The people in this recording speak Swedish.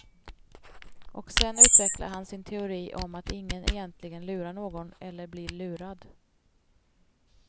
Och sen utvecklar han sin teori om att ingen egentligen lurar någon, eller blir lurad.